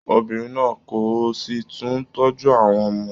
Obìnrin náà kọ, o si tún tọ́jú àwọn ọmọ.